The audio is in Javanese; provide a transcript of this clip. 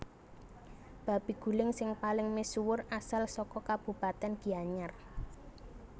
Babi guling sing paling misuwur asal saka kabupatèn Gianyar